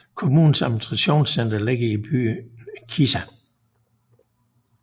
Kommunens administrationscenter ligger i byen Kisa